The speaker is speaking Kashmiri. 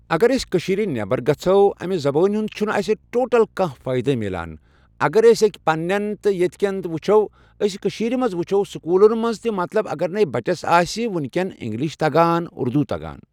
اگر أسۍ کٔشیٖرِ نیٚبر گژھو أمہِ زبأنۍ ہُنٛد چھنہٕ اَسہِ ٹوٹل کانٛہہ فأیِدے مِلان اگر أسۍ أکۍ پنٕنٮ۪ن ییٚتہِ تہِ وٕچھو أسۍ کشیٖرِ منٛز وٕچھَو سکوٗلن منٛز تہِ مطلب اگر نٕے بچس آسہِ وُنکٮ۪ن اِنگلِش تگان اُردوٗ تگان